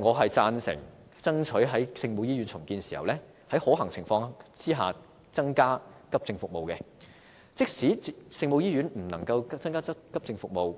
我贊成爭取在聖母醫院重建時在可行情況下增加急症服務，而即使聖母醫院不能增加急症服務，